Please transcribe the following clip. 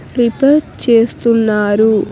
Prepare చేస్తున్నారు.